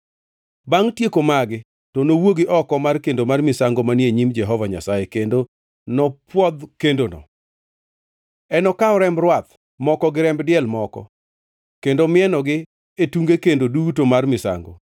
“Bangʼ tieko magi to nowuogi oko mar kendo mar misango manie nyim Jehova Nyasaye, kendo nopwodh kendono. Enokaw remb rwath moko gi remb diel moko, kendo mienogi e tunge kendo duto mar misango.